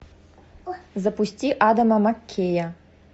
запусти адама маккея